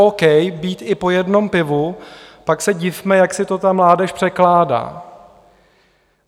k. být i po jednom pivu, pak se divme, jak si to ta mládež překládá.